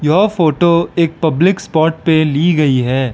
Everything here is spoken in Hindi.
यो फोटो एक पब्लिक स्पॉट पे ली गई है।